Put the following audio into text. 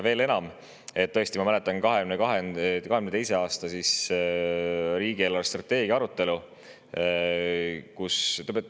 Veel enam, ma mäletan 2022. aasta riigi eelarvestrateegia arutelu.